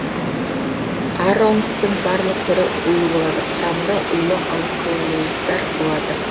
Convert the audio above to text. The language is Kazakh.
ароннктің барлық түрі улы болады құрамында улы алколоидтар болады